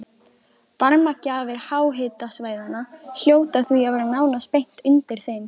Varmagjafar háhitasvæðanna hljóta því að vera nánast beint undir þeim.